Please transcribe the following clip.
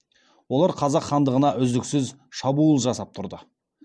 олар қазақ хандығына үздіксіз шабуыл жасап тұрды